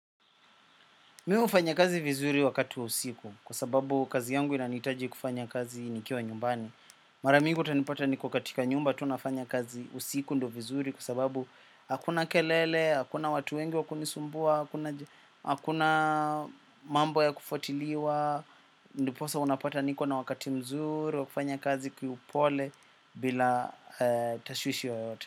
Mi hufanya kazi vizuri wakati wa usiku kwa sababu kazi yangu inanihitaji kufanya kazi nikiwa nyumbani. Mara mingi utanipata niko katika nyumba tu nafanya kazi usiku ndo vizuri kwa sababu hakuna kelele, hakuna watu wengi wa kunisumbua, hakuna mambo ya kufuatiliwa. Ndiposa unapata niko na wakati mzuri wa kufanya kazi kiupole bila tashwishi yoyote.